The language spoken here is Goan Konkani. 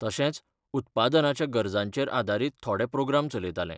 तशेंच, उत्पादनाच्या गरजांचेर आदारीत थोडे प्रोग्राम चलयतालें.